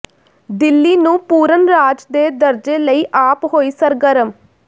ਦਿੱਲੀ ਨੂੰ ਪੂਰਨ ਰਾਜ ਦੇ ਦਰਜੇ ਲਈ ਆਪ ਹੋਈ ਸਰਗਰਮ